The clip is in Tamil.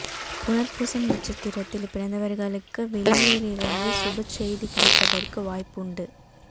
புனர்பூசம் நட்சத்திரத்தில் பிறந்தவர்களுக்கு வெளியூரிலிருந்து சுபச் செய்தி கிடைப்பதற்கு வாய்ப்பு உண்டு